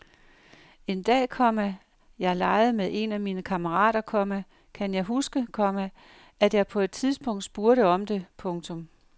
En dag, komma jeg legede med en af mine kammerater, komma kan jeg huske, komma at jeg på et tidspunkt spurgte om det. punktum